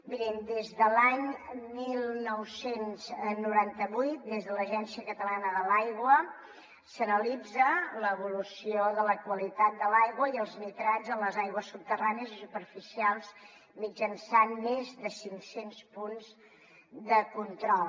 mirin des de l’any dinou noranta vuit des de l’agència catalana de l’aigua s’analitza l’evolució de la qualitat de l’aigua i els nitrats a les aigües subterrànies i superficials mitjançant més de cinccents punts de control